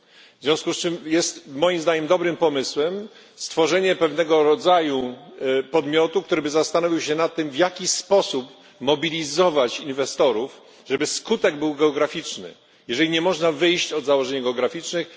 W związku z czym jest, moim zdaniem, dobrym pomysłem stworzenie pewnego rodzaju podmiotu, który zastanowiłby się nad tym, w jaki sposób mobilizować inwestorów, żeby skutek był geograficzny, skoro nie można wyjść od założeń geograficznych.